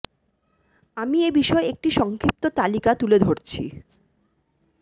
আমি এ বিষয়ে একটি সংক্ষিপ্ত তালিকা প্রথমে তুলে ধরছি